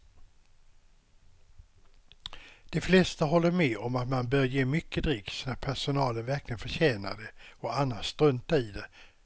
De flesta håller med om att man bör ge mycket dricks när personalen verkligen förtjänar det och annars strunta i det.